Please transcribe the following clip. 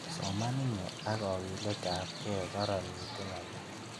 Soman inye ak kagiletab gee, karanitu ng'alek.